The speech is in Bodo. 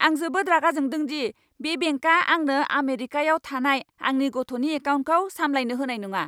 आं जोबोद रागा जोंदों दि बे बेंकआ आंनो आमेरिकायाव थानाय आंनि गथ'नि एकाउन्टखौ सामलायनो होनाय नङा!